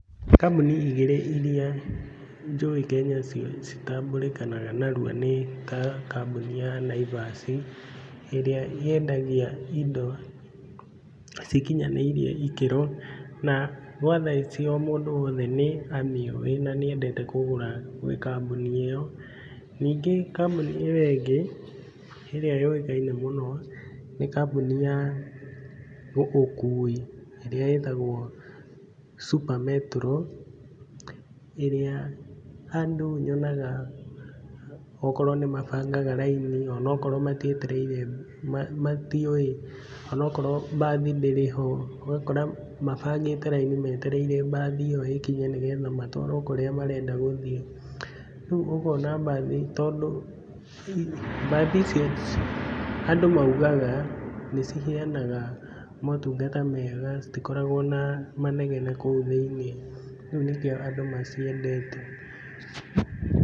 Kambũni igĩrĩ iria njũĩ Kenya citambũrĩkanaga narua nĩ ta kambũni ya Naivas, ĩrĩa yendagia indo cikinyanĩirie ikĩro na gwa thaa icio mũndũ woteh nĩamĩũwi na nĩendete kũgũra gwĩ kambũni ĩyo, ningĩ kambũni ĩyo ĩngĩ ĩrĩa yũĩkaine mũno nĩ kambũni ya ũkui, ĩrĩa ĩtagwo Super Metro, ĩrĩa andũ nyonaga akorwo nĩmabangaga raini onakorwo matietereire matiũĩ, onokrwo mbathi ndĩrĩ ho, ũgakora mabangĩte raini metereire mbathi ĩyo ĩkinye nĩgetha matwarwo kũrĩa marenda gũthiĩ. Rĩu ũkona mbathi tondũ mbathi icio andũ maugaga nĩciheanaga motungata mega, citikoragwo na manegene kũu thĩiniĩ, rĩu nĩkĩo andũ maciendete.